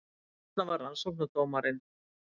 Þarna var rannsóknardómarinn